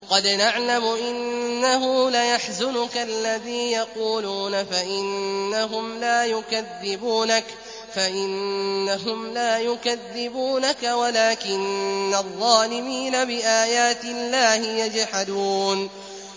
قَدْ نَعْلَمُ إِنَّهُ لَيَحْزُنُكَ الَّذِي يَقُولُونَ ۖ فَإِنَّهُمْ لَا يُكَذِّبُونَكَ وَلَٰكِنَّ الظَّالِمِينَ بِآيَاتِ اللَّهِ يَجْحَدُونَ